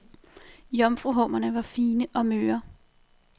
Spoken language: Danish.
Jomfruhummerne var fine og møre.